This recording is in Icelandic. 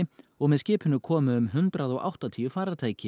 og með skipinu komu um hundrað og áttatíu farartæki